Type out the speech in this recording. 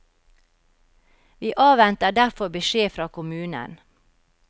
Vi avventer derfor beskjed fra kommunen.